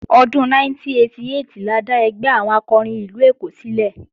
Ọdún 1988 la dá ẹgbẹ́ àwọn akọrin ìlú Èkó sílẹ̀